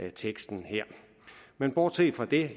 af teksten her bortset fra det